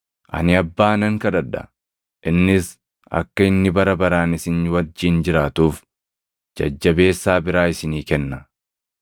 Ani Abbaa nan kadhadha; innis akka inni bara baraan isin wajjin jiraatuuf Jajjabeessaa biraa isinii kenna;